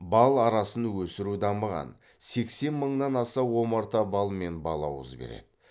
бал арасын өсіру дамыған сексен мыңнан аса омарта бал мен балауыз береді